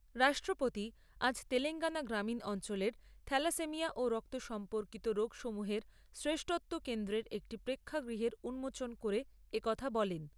রাষ্ট্রপতি আজ তেলেঙ্গানা গ্রামীণ অঞ্চলের থ্যালাসেমিয়া ও রক্ত সম্পর্কিত রোগসমূহের শ্রেষ্ঠত্ব কেন্দ্রের একটি প্রেক্ষাগৃহের উন্মোচন করে এ কথা বলেন।